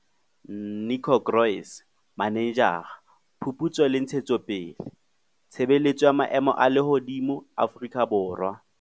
Nico Kroese, Manejara- Phuputso le Ntshetsopele, Tshebeletso ya Maemo a Lehodimo Afrika Borwa.